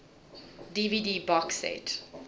dvd box set